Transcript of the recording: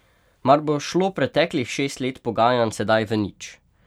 Mar bo šlo preteklih šest let pogajanj sedaj v nič?